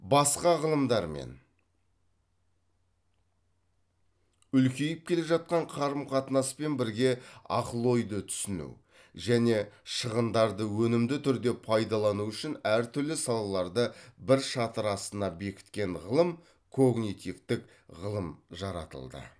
басқа ғылымдармен үлкейіп келе жатқан қарым қатынаспен бірге ақыл ойды түсіну және шығындарды өнімді түрде пайдалану үшін әртүрлі салаларды бір шатыр астына бекіткен ғылым когнитивтік ғылым жаратылды